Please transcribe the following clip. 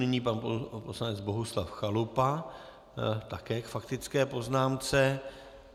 Nyní pan poslanec Bohuslav Chalupa, také k faktické poznámce.